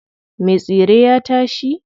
Me tsire ya tashi.